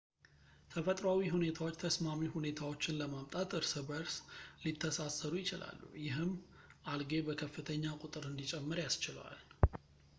ተፈጥሯዊ ሁኔታዎች ተስማሚ ሁኔታዎችን ለማምጣት እርስ በእርስ ሊተሳሰሩ ይችላሉ ፣ ይህም አልጌ በከፍተኛ ቁጥር እንዲጨምር ያስችለዋል